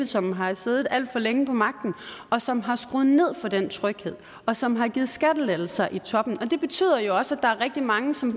som har siddet alt for længe på magten og som har skruet ned for den tryghed og som har givet skattelettelser i toppen og det betyder jo også at der er rigtig mange som